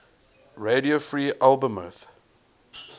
radio free albemuth